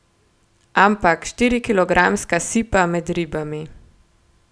Ampak, štirikilogramska sipa med ribami!